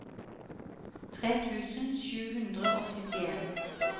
tre tusen sju hundre og syttien